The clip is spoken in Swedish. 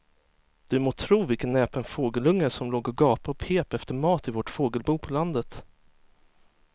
Du må tro vilken näpen fågelunge som låg och gapade och pep efter mat i vårt fågelbo på landet.